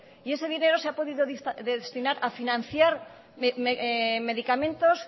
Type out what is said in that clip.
y ese dinero se ha podido destinar a financiar medicamentos